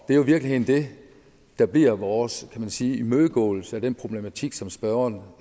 er jo i virkeligheden det der bliver vores kan man sige imødegåelse af den problematik som spørgeren